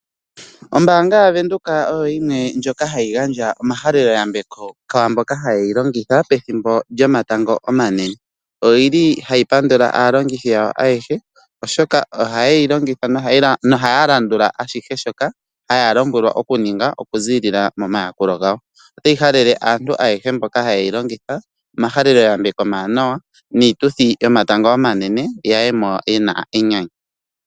Ombaanga yaVenduka oyo yimwe ndjoka hayi gandja omahaleloyambeko kwaamboka haye yi longitha pethimbo lyomatango omanene. Oyili hayi pandula aalongithi yawo ayehe oshoka oha yeyi longitha nohaya landula ashihe shoka haya lombwelwa oku ninga okuziilila momayakulo gawo . Otayi halele aantu ayehe mboka hayeyi longitha omahaleloyambeko omawanawa niituthi yo matango omanene ya yemo yena enyanyu.